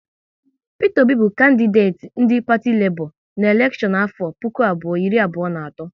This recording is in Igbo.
Peter Obi bụ kandideti ndị parti Lebọ na elekshon afọ puku abụọ iri abụọ na atọ